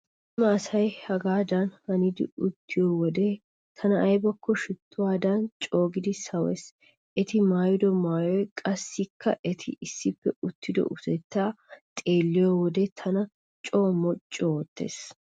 Cima asay hagaadan hanidi uttiyo wode tana aybakko shittuwaadan coogidi sawees. Eti maayido maayoy qassikka eti issippe uttido utettay xeelliyode tana coo moocu oottees.